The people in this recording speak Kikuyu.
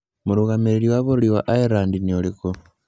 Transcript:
Mũrũgamĩrĩri wa bũrũri wa Ireland nĩ ũrĩkũ?